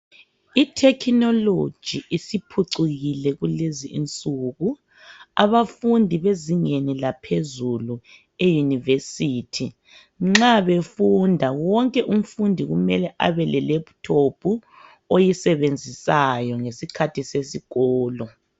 I technology isiphucukile kulezinsuku abafundi bezingeni laphezulu e yunivesithi nxa befunda wonke umfundi kumele abe le laptop oyisebenzisayo ngesikhathi sesikolo.